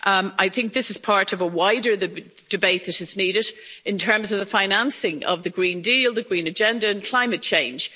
I think this is part of a wider debate that is needed in terms of the financing of the Green Deal, the green agenda and climate change.